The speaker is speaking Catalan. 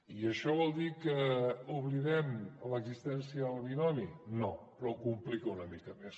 i això vol dir que oblidem l’existència del binomi no però ho complica una mica més